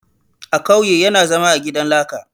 A kauye yana zama a gidan laka